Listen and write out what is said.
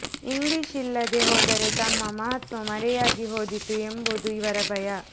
English ಇಲ್ಲದೇ ಹೋದರೆ ತಮ್ಮ ಮಹತ್ವ ಮರೆಯಾಗಿ ಹೋದಿತು ಎಂಬುದು ಇವರ ಭಯ